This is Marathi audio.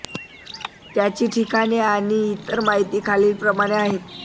त्यांची ठिकाणे आणि इतर माहिती खालील प्रमाणे आहे